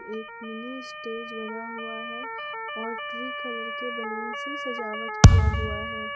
एक mini stage बना हुआ है और ट्री कलर के बैलून से सजावट किया हुआ है।